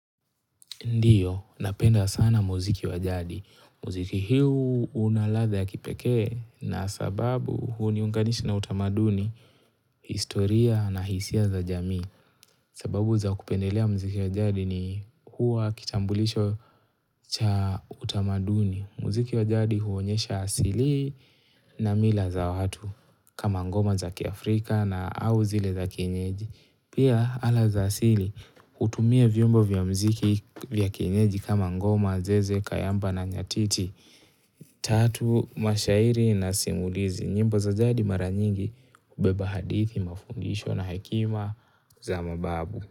Ndiyo, napenda sana muziki wa jadi. Mziki hiu una ladha ya kipekee na sababu huniunganisha na utamaduni, historia na hisia za jamii. Sababu za kupendelea muziki wa jadi ni hua kitambulisho cha utamaduni. Mziki wa jadi huonyesha asilii na mila za watu. Kama ngoma za kiafrika na au zile za kienyeji. Pia ala za asili, hutumia vyombo vya mziki vya kienyeji kama ngoma, zeze, kayamba na nyatiti. Tatu, mashairi na simulizi, nyimbo za jadi mara nyingi, ubeba hadithi, mafungisho na hekima za mababu.